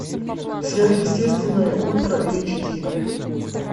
сверхъестественное ультра эйч ди